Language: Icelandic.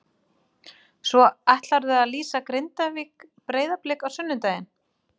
Svo ætlarðu að lýsa Grindavík- Breiðablik á sunnudaginn?